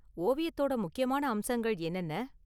ஓவியத்தோட முக்கியமான அம்சங்கள் என்னென்ன?